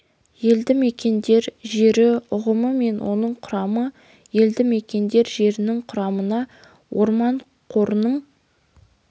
елді мекендер жері ұғымы мен оның құрамы елді мекендер жерінің құрамына орман қорының